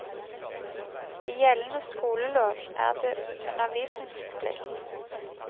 I gjeldende skolelov er det undervisningsplikt.